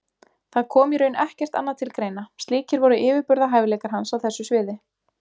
Það kom í raun ekkert annað til greina, slíkir voru yfirburðahæfileikar hans á þessu sviði.